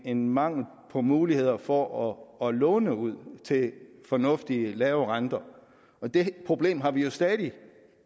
en mangel på muligheder for at låne ud til fornuftige lave renter og det problem har vi jo stadig